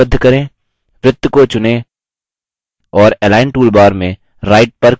वृत्त को चुनें और align toolbar में right पर click करें